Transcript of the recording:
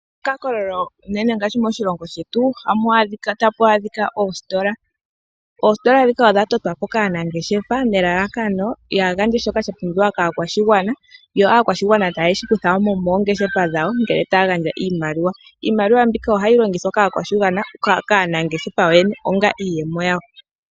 Kehe mokakololo uunene moshilongo shetu otamu adhika oositola. Oositola ndhika odha totwa po kaanangeshefa nelalakano ya gandje shoka sha pumbiwa kaakwashigwana yo aakwashigwana taye shi kutha mo moongeshefa dhawo ngele taya gandja oshimaliwa. Iimaliwa mbika ohayi longithwa kaanangeshefa onga iiyemo yawo.